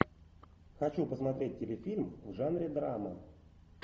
хочу посмотреть телефильм в жанре драма